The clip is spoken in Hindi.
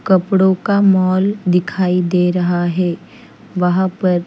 कपड़ो का मॉल दिखाई दे रहा है वहा पर--